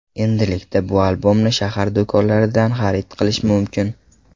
Endilikda bu albomni shahar do‘konlaridan xarid qilish mumkin.